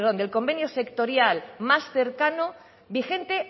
del convenio sectorial más cercano vigente